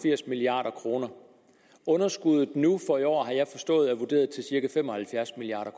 firs milliard kroner underskuddet nu for i år har jeg forstået er vurderet til cirka fem og halvfjerds milliard